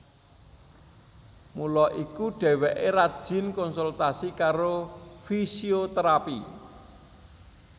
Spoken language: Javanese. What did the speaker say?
Mula iku dheweké rajin konsultasi karo fisioterapi